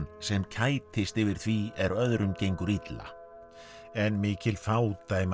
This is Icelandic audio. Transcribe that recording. sem kætist yfir því er öðrum gengur illa en mikil fádæma